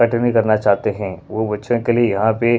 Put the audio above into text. हठ नहीं करना चाहते हैं वो बच्चों के लिए यहाँ पे--